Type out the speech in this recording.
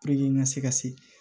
n ka se ka se